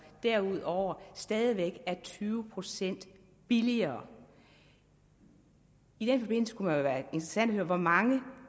derudover i stadig væk er tyve procent billigere i den forbindelse kunne det være interessant at høre hvor mange